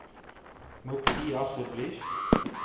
moet u asseblief